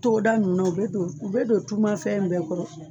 Togo da nunnu na, u bɛ don u bɛ don tumafɛn bɛɛ kɔrɔ.